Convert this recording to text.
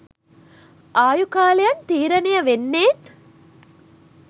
ආයු කාලයන් තීරණය වෙන්නේත්